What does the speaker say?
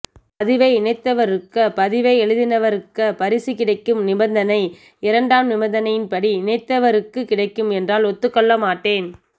பதிவை இணைத்தவருக்க பதிவை எழுதினவருக்க பரிசு கிடைக்கும் நிபந்தனை இரண்டாம் நிபந்தனை படி இணைத்தவருக்கு கிடைக்கும் என்றால் ஒதுகொள்ளமட்டேன்